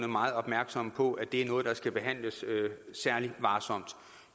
meget opmærksom på at det er noget der skal behandles særlig varsomt